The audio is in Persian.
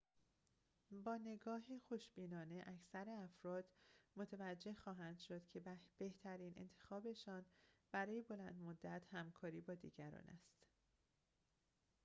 با نگاه خوشبینانه اکثر افرا متوجه خواهند شد که بهترین انتخابشان برای بلندمدت همکاری با دیگران است